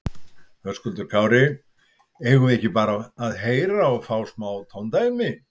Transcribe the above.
Höskuldur Kári: Eigum við ekki bara að heyra og fá smá tóndæmi?